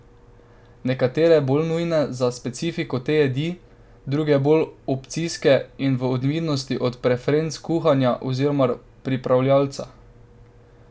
Nekatere bolj nujne za specifiko te jedi, druge bolj opcijske in v odvisnosti od preferenc kuharja oziroma pripravljavca.